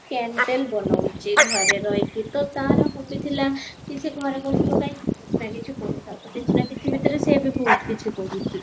candle ବନଉଚି ଘରେ ରହିକି ତ ତାର hobby ଥିଲା କି ସେ ଘରେ ବସିବ କାହିଁକି କିଛି ନା କିଛି କରୁଥାଉ କିଛି ନା କିଛି ଭିତରେ ସିଏ ଏବେ ବହୁତ କିଛି କରୁଚି